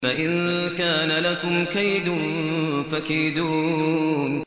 فَإِن كَانَ لَكُمْ كَيْدٌ فَكِيدُونِ